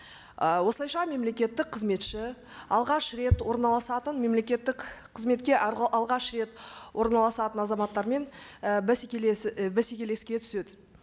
ы осылайша мемлекеттік қызметші алғаш рет орналасатын мемлекеттік қызметке алғаш рет орналасатын азаматтармен і і бәсекелеске түседі